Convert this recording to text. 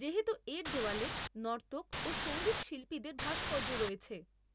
যেহেতু এর দেওয়ালে নর্তক ও সঙ্গীতশিল্পীদের ভাস্কর্য রয়েছে।